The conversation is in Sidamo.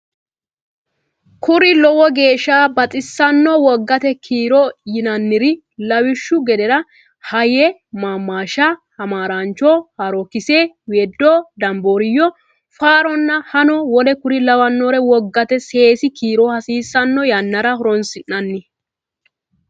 Kuri lowo geeshsha baxissano wogate kiiro yinanniri lawishshu gedera hayye maammaashsha hamaaraancho haarookkise weedo dambaariyyo faaronna hano w k l wogate seesi kiiro hasiissanno yannara horonsi nanni.